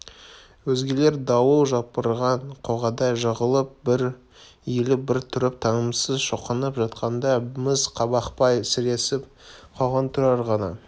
өзгелер дауыл жапырған қоғадай жығылып бір иіліп бір тұрып тынымсыз шоқынып жатқанда міз бақпай сіресіп қалған тұрар ғана